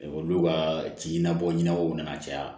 olu ka ci na bɔ ɲɛnabɔw nana caya